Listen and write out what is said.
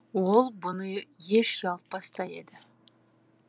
ол бұны еш ұялтпас та еді